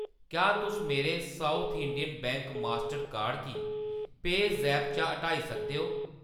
क्या तुस मेरे South Indian bank master card गी पेऽज़ैप चा हटाई सकदे ओ ?